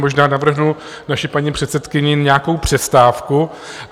Možná navrhnu naší paní předsedkyni nějakou přestávku.